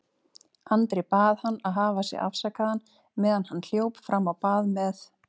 Andri bað hann að hafa sig afsakaðan meðan hann hljóp fram á bað með